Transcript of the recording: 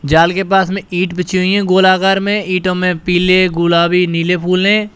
जाल के पास में ईंट बीछी हुई हैं गोलाकार में इंटों में पीले गुलाबी नीले फूल हैं।